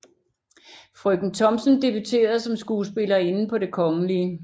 Frøken Thomsen debuterede som skuespillerinde på det Kgl